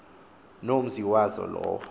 nomzi wazo lowo